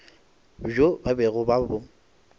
bjo ba bego ba bo